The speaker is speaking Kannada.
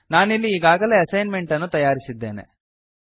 ನಾನಿಲ್ಲಿ ಈಗಾಗಲೇ ಅಸೈನ್ಮೆಂಟ್ ಅನ್ನು ತಯಾರಿಸಿದ್ದೇನೆ